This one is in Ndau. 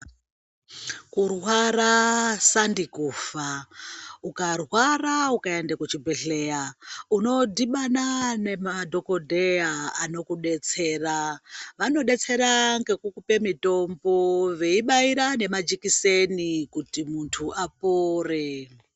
Kurwara sandi kufa ukarwara ukaenda kuchibhedhlera unodhibana nemadhokodheya anokudetsera vanokudetsera ngekukupe mitombo veibaira nemajekiseni kuti munthu apore.